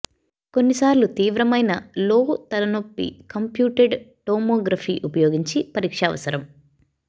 కొన్నిసార్లు తీవ్రమైన లో తల నొప్పి కంప్యూటెడ్ టోమోగ్రఫీ ఉపయోగించి పరీక్ష అవసరం